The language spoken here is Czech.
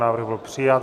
Návrh byl přijat.